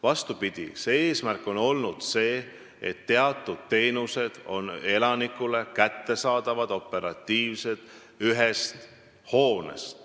Vastupidi, eesmärk on olnud see, et teatud teenused oleks elanikule ühest hoonest operatiivselt kättesaadavad.